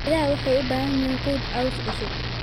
Idaha waxay u baahan yihiin quud caws cusub.